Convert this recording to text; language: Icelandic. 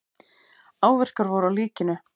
Áverkar voru á líkinu.